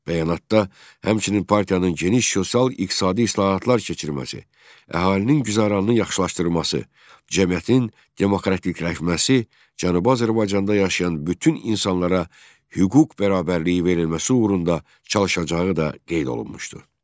Bəyanatda həmçinin partiyanın geniş sosial iqtisadi islahatlar keçirməsi, əhalinin güzəranını yaxşılaşdırılması, cəmiyyətin demokratikləşməsi, Cənubi Azərbaycanda yaşayan bütün insanlara hüquq bərabərliyi verilməsi uğrunda çalışacağı da qeyd olunmuşdu.